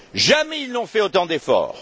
Jamais ils n'ont fait autant d'efforts.